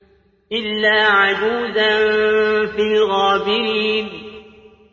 إِلَّا عَجُوزًا فِي الْغَابِرِينَ